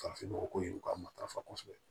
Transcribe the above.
Farafinnɔgɔ ko in u ka matarafa kosɛbɛ